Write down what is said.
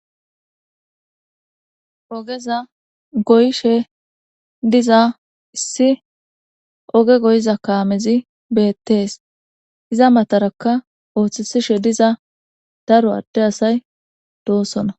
ogeza goyshe diza issi oge goyza kaamezi beettees iza matarakka ooththesishe diza daro adde asay doosona